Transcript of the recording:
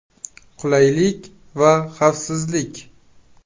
Qulaylik va xavfsizlik.